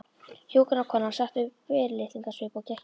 Hjúkrunarkonan setti upp fyrirlitningarsvip og gekk í burtu.